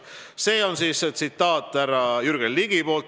" See oli tsitaat härra Jürgen Ligilt.